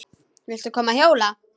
Viltu koma að hjóla?